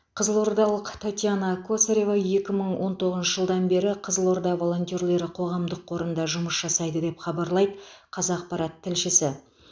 қызылордалық татьяна косарева екі мың он тоғызыншы жылдан бері кызылорда волонтерлері қоғамдық қорында жұмыс жасайды деп хабарлайды қазақпарат тілшісі